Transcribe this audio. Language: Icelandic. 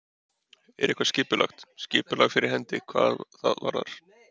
Er eitthvað skipulagt, skipulag fyrir hendi hvað það varðar?